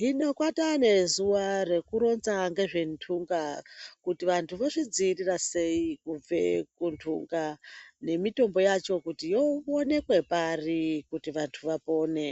Hino kwataanezuva rekuronza ngezventunga, kuti vantu vozvidzivirira sei kubve kuntunga. Nemitombo yacho kuti yoonekwe pari kuti vantu vapone.